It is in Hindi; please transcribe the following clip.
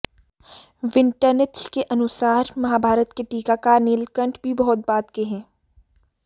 विंटरनित्ज के अनुसार महाभारत के टीकाकार नीलकंठ भी बहुत बाद के हैं